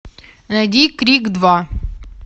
найди крик два